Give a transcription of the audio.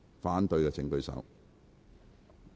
反對的請舉手。